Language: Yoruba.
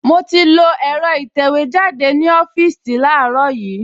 Mo ti lo ẹ̀rọ ìtẹ̀wẹ́jáde ní ọ́fíìsì láàárọ̀ yìí